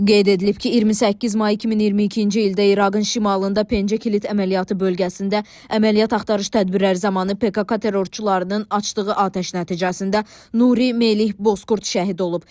Qeyd edilib ki, 28 may 2022-ci ildə İraqın şimalında Pencə Kilit əməliyyatı bölgəsində əməliyyat axtarış tədbirləri zamanı PKK terrorçularının açdığı atəş nəticəsində Nuri Melih Bozkurt şəhid olub.